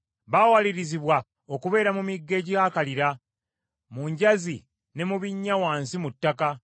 Baawalirizibwa okubeera mu migga egyakalira, mu njazi ne mu binnya wansi mu ttaka.